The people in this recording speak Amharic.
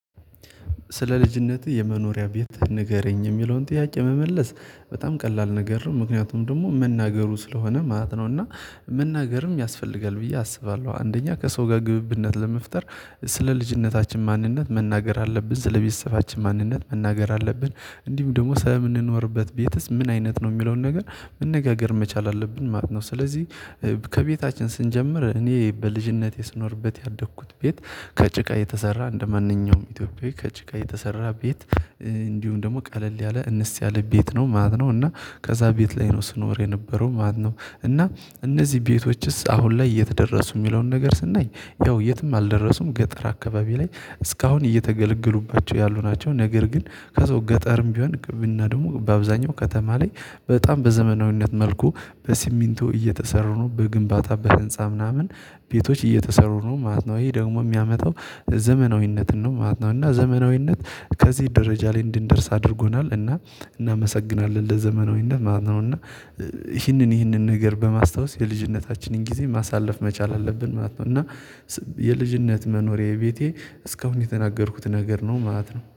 ስለ ልጅነትህ የመኖሪያ ቤት ንገረኝ የሚለውን ጥያቄ መመለስ በጣም ቀላል ነገር ነው ምክንያቱም ደግሞ መናገሩ ስለሆነ ማለት ነው። እና መናገርም ያስፈልጋል ብዬ አስባለሁ አንደኛ ከሰው ጋር ግብብነት ለመፍጠር። ስለ ልጅነታችን ማንነት መናገር አለብን ስለ ቤተሰባችን ማንነት መናገር አለብን። እንዲሁም ደግሞ ስለምንኖርበት ቤትስ ምን አይነት ነው የሚለውን ነገር መነጋገር መቻል አለብን ማለት ነው። ስለዚህ ከቤታችን ስንጀምር እኔ በልጅነቴ ስኖርበት ያደግኩት ቤት። ከጭቃ የተሰራ እንደማንኛውም ኢትዮጵያዊ ከጭቃ የተሰራ ቤት። እንዲሁም ደግሞ ቀለል ያለ እንስ ያለ ቤት ነው ማለት ነው። እና ከዛ ቤት ላይ ነው ስኖር የነበረው ማለት ነው። እና እነዚህ ቤቶችስ አሁን ላይ የት ደረሱ እሚለውን ነገር ስናይ ያው የትም አልደረሱም ገጠር አካባቢ ላይ እስካሁን እየተገለገሉባቸው ያሉ ናቸው። ነገር ግን ከዛው ገጠርም ቢሆን ቅብና ደግሞ በአብዛኛው ከተማ ላይ። በጣም በዘመናዊነት መልኩ በሲሚንቶ እየተሰሩ ነው በግንባታ በህንፃ ምናምን ቤቶች እየተሰሩ ነው ማለት ነው። ይሄ ደግሞ የሚያመጣው ዘመናዊነትን ነው ማለት ነው። እና ዘመናዊነት ከዚህ ደረጃ ላይ እንድንደርስ አድርጎናል እና እናመሰግናለን ለዘመናዊነት ማለት ነው። እና ይህንን ይህንን ነገር በማስታወስ የልጅነታችንን ጊዜ ማሳለፍ መቻል አለብን ማለት ነው። እና የልጅነት መኖሪያዬ ቤቴ እስካሁን የተናገርኩት ነገር ነው ማለት ነው